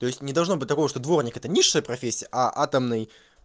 то есть не должно быть того что дворник это низшая профессия а атомный